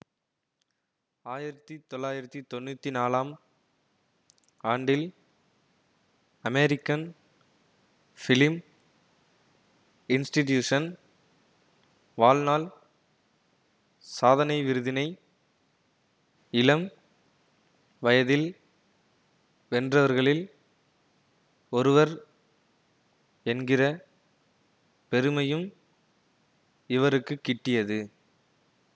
ஆயிரத்தி தொள்ளாயிரத்தி தொன்னூத்தி நாலாம் ஆண்டில் அமெரிக்கன் பிலிம் இன்ஸ்டிடியூஷன் வாழ்நாள் சாதனை விருதினை இளம் வயதில் வென்றவர்களில் ஒருவர் என்கிற பெருமையும் இவருக்கு கிட்டியது